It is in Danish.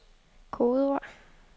kodeord